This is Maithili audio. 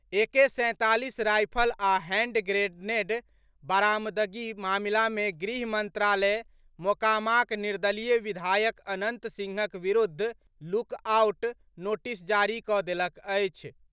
एके सैंतालीस राईफल आ हैंड ग्रेनेड बारामदगी मामिला मे गृह मंत्रालय मोकामाक निर्दलीय विधायक अनंत सिंहक विरुद्ध लुकआउट नोटिस जारी कऽ देलक अछि।